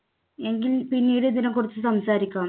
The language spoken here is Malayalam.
എങ്കിൽ പിന്നീട് ഇതിനെക്കുറിച്ച് സംസാരിക്കാം